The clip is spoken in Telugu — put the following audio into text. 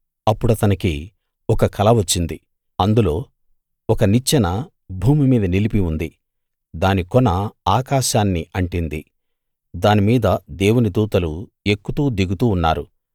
అప్పుడతనికి ఒక కల వచ్చింది అందులో ఒక నిచ్చెన భూమి మీద నిలిపి ఉంది దాని కొన ఆకాశాన్ని అంటింది దానిమీద దేవుని దూతలు ఎక్కుతూ దిగుతూ ఉన్నారు